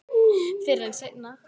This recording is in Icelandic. Fyrr en seinna.